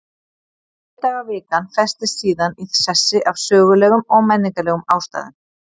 Sjö daga vikan festist síðan í sessi af sögulegum og menningarlegum ástæðum.